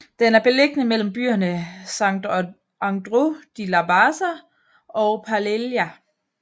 Den er beliggende mellem byerne Sant Andreu de la Barca og Pallejà